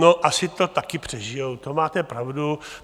No asi to taky přežijí, to máte pravdu.